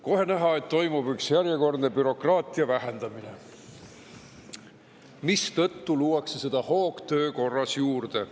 Kohe näha, et toimub üks järjekordne bürokraatia vähendamine, mistõttu luuakse seda hoogtöö korras juurde.